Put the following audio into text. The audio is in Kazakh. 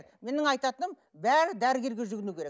менің айтатыным бәрі дәрігерге жүгіну керек